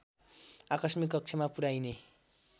आकस्मिक कक्षमा पुर्‍याइने